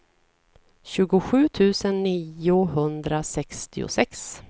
tjugosju tusen niohundrasextiosex